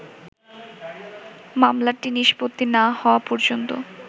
“মামলাটি নিষ্পত্তি না হওয়া পর্যন্ত